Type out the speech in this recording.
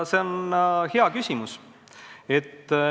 See on hea küsimus.